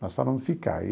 Nós falamos ficar.